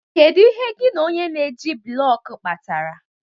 Kedu ihe gị na onye na-eji blọk kpatara?